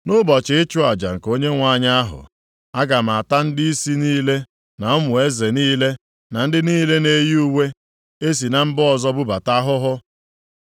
“Nʼụbọchị ịchụ aja nke Onyenwe anyị ahụ, aga m ata ndịisi niile na ụmụ eze niile, na ndị niile na-eyi uwe e si na mba ọzọ bubata ahụhụ.